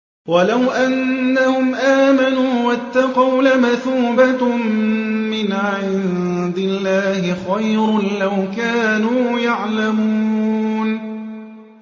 وَلَوْ أَنَّهُمْ آمَنُوا وَاتَّقَوْا لَمَثُوبَةٌ مِّنْ عِندِ اللَّهِ خَيْرٌ ۖ لَّوْ كَانُوا يَعْلَمُونَ